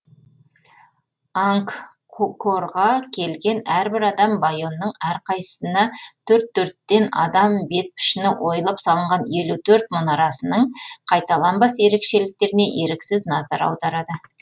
ангкорға келген әрбір адам байонның әрқайсысына төрт төрттен адам бет пішіні ойылып салынған елу төрт мұнарасының қайталанбас ерекшеліктеріне еріксіз назар аударады